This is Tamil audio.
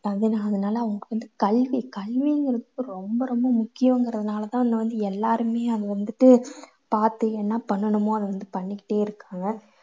அதனால அவங்களுக்கு வந்து கல்வி கல்விங்குறது ரொம்ப ரொம்ப முக்கியங்கறதுனால தான் வந்து எல்லாருமே அதை வந்துட்டு பாத்து என்ன பண்ணணுமோ அதை வந்து பண்ணிக்கிட்டே இருக்காங்க.